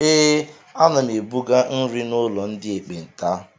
Ee, ana m ebuga nri n'ụlọ ndị ekpenta.